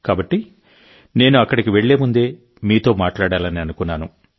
కాబట్టి నేను అక్కడికి వెళ్ళే ముందే మీతో మాట్లాడాలని అనుకున్నాను